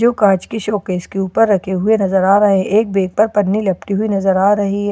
जो काज की शोकेस के ऊपर रखे हुए नजर आ रहे हैं एक बैग पर पनी लपटी हुई नजर आ रही है।